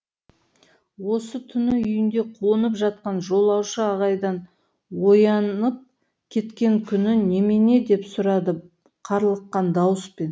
осы түні үйінде қонып жатқан жолаушы айғайдан оянып кеткен күні немене деп сұрады қарлыққан дауыспен